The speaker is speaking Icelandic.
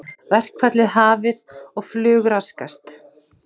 Verkfall hafið og flug raskast